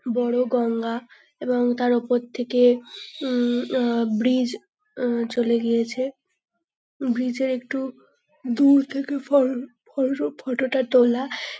বড় গঙ্গা এবং তার ওপর থেকে উম আহ ব্রিজ আহ চলে গিয়েছে ব্রিজের একটু দূর থেকে ফর ফর ফটোটা তোলা।